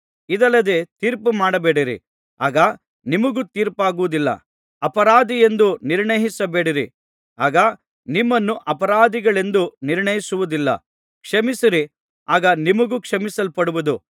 ಇದಲ್ಲದೆ ತೀರ್ಪುಮಾಡಬೇಡಿರಿ ಆಗ ನಿಮಗೂ ತೀರ್ಪಾಗುವುದಿಲ್ಲ ಅಪರಾಧಿಯೆಂದು ನಿರ್ಣಯಿಸಬೇಡಿರಿ ಆಗ ನಿಮ್ಮನ್ನೂ ಅಪರಾಧಿಗಳೆಂದು ನಿರ್ಣಯಿಸುವುದಿಲ್ಲ ಕ್ಷಮಿಸಿರಿ ಆಗ ನಿಮಗೂ ಕ್ಷಮಿಸಲ್ಪಡುವುದು